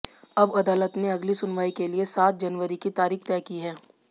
अब अदालत ने अगली सुनवाई के लिए सात जनवरी की तारीख तय की है